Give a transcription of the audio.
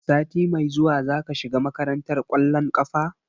Sati mai zuwa zaka shiga makarantar ƙwallon ƙafa?